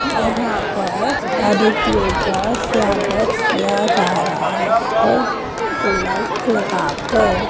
यहां पर अतिथियों का स्वागत किया जा रहा है तिलक लगा कर।